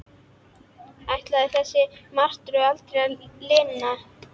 Ætlaði þessari martröð aldrei að linna?